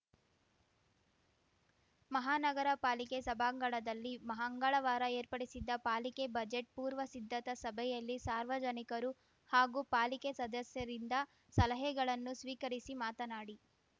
ಮಹಾನಗರ ಪಾಲಿಕೆ ಸಭಾಂಗಣದಲ್ಲಿ ಮಹಂಗಳವಾರ ಏರ್ಪಡಿಸಿದ್ದ ಪಾಲಿಕೆ ಬಜೆಟ್‌ ಪೂರ್ವ ಸಿದ್ಧತಾ ಸಭೆಯಲ್ಲಿ ಸಾರ್ವಜನಿಕರು ಹಾಗೂ ಪಾಲಿಕೆ ಸದಸ್ಯರಿಂದ ಸಲಹೆಗಳನ್ನು ಸ್ವೀಕರಿಸಿ ಮಾತನಾಡಿ